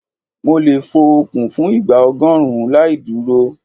Mo lè fo okùn fún ìgbà ọgọ́rùn-ún láì dúró.